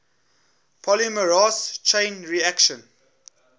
polymerase chain reaction